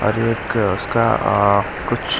और एक उसका अ कुछ --